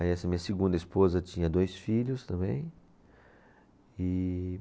Aí essa minha segunda esposa tinha dois filhos também. E